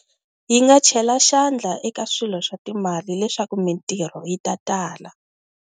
Yi nga chela xandla eka swilo swa timali leswaku mintirho yi ta tala.